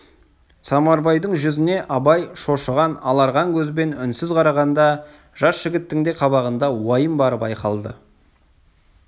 самарбайдың жүзіне абай шошыған аларған көзбен үнсіз қарағанда жас жігіттің де қабағында уайым бары байқалды